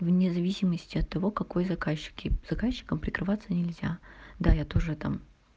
вне зависимости от того какой заказчик и заказчиком прикалываться нельзя да я тоже там